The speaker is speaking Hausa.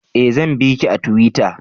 Eh zan biki a tuwita